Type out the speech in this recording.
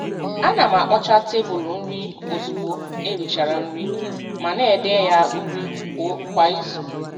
A na m akpọcha tebụl nri ozugbo erichara nri, ma na-ede ya uri kwa izu.